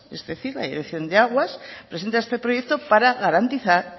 es decir la dirección de aguas presenta este proyecto para garantizar